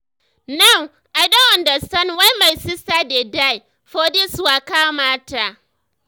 now i don understand why my sister dey die for this waka mata.